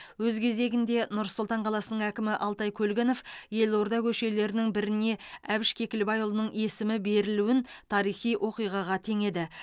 өз кезегінде нұр сұлтан қаласының әкімі алтай көлгінов елорда көшелерінің біріне әбіш кекілбайұлының есімі берілуін тарихи оқиғаға теңеді